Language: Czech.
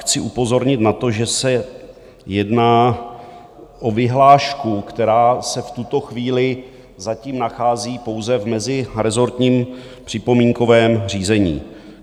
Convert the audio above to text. Chci upozornit na to, že se jedná o vyhlášku, která se v tuto chvíli zatím nachází pouze v mezirezortním připomínkovém řízení.